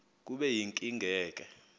kube yinkinge ke